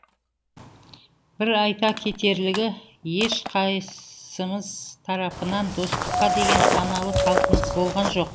бір айта кетерлігі еш қайыссымыз тарапынан достыққа деген саналы талпыныс болған жоқ